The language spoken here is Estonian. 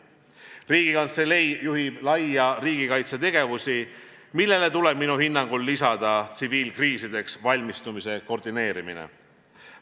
Riigikantselei juhib laia riigikaitse tegevusi, millele tuleb minu hinnangul lisada tsiviilkriisideks valmistumise koordineerimine.